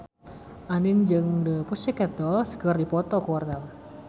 Andien jeung The Pussycat Dolls keur dipoto ku wartawan